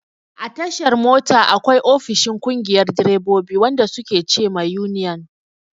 A tashar mota, akwai ofishin ƙungiyar direbobi, wanda su ke ce ma yuniyan.